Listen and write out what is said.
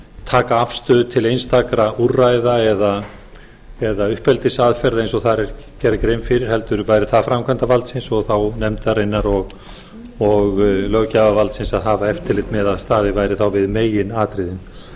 taka afstöðu til einstakra úrræða eða uppeldisaðferða eins og þar er gerð grein fyrir heldur verði það framkvæmdarvaldsins og þá nefndarinnar og löggjafarvaldsins að hafa eftirlit með að staðið væri þá við meginatriðin